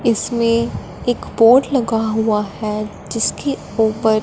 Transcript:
इसमें एक बोर्ड लगा हुआ है जिसके ऊपर--